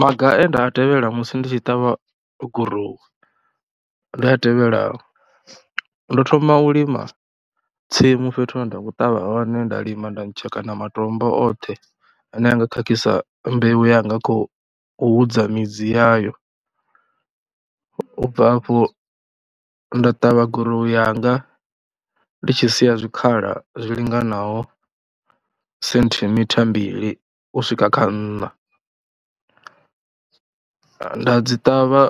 Maga e nda a tevhela musi ndi tshi ṱavha gurowu ndi a tevhelaho, ndo thoma u lima tsimu fhethu hune nda khou ṱavha hone, nda lima nda ntshekana matombo oṱhe ane a nga khakhisa mbeu yanga khou u hudza midzi yayo. U bva afho nda ṱavha gurowu yanga ndi tshi sia zwikhala zwi linganaho senthimitha mbili u swika kha nṋa. Nda dzi ṱavha,